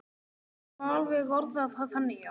Það má alveg orða það þannig, já.